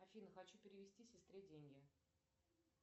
афина хочу перевести сестре деньги